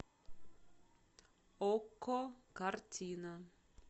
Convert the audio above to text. окко картина